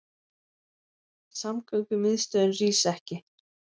Samgöngumiðstöðin rís ekki